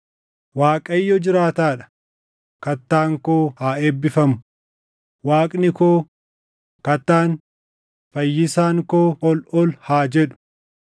“ Waaqayyo jiraataa dha! Kattaan koo haa eebbifamu! Waaqni koo, Kattaan, Fayyisaan koo ol ol haa jedhu!